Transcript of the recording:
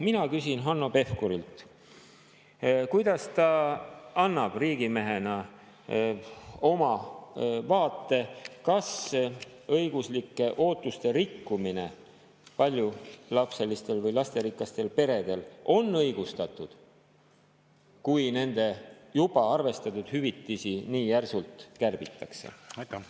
Mina küsin Hanno Pevkurilt, milline on tema vaade riigimehena: kas õiguslike ootuste rikkumine paljulapselistel või lasterikastel peredel on õigustatud, kui nende juba arvestatud hüvitisi nii järsult kärbitakse?